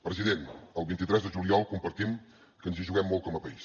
president el vint tres de juliol compartim que ens hi juguem molt com a país